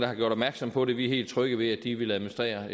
har gjort opmærksom på det vi er helt trygge ved at de vil administrere